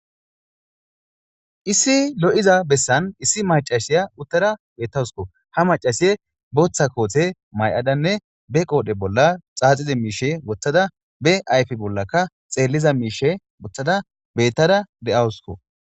issi lo7iza bessan issi macashiya uttara bettawusko ha macasiye booththa koothe may7adanne be qoodhe bolla xaaxize miishe wothada be ayfe bollaka xeelliza miishe wothada bettara de7awusko